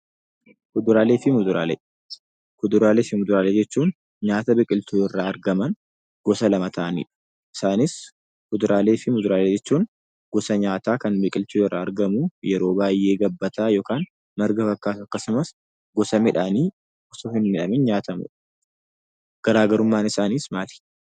Kuduraalee fi Muduraalee. Kuduraalee fi Muduraalee jechuun nyaata biqiltuu irraa argaman gosa lama ta'anidha. Isaanis:Kuduraalee fi Muduraalee jechuun gosa nyaataa kan biqiltuu irraa argamu yeroo baay'ee gabbataa yookaan marga fakkaatu akkasumas gosa midhaanii nyaatamudha. garaagarummaan isaaniis maali?